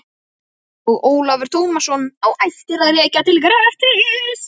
Og Ólafur Tómasson á ættir að rekja til Grettis.